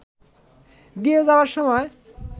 দিয়ে যাওয়ার সময়